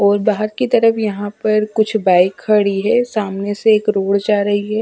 और बाहर की तरफ यहां पर कुछ बाइक खड़ी है सामने से एक रोड जा रही है।